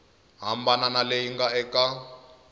hambana na leyi nga eka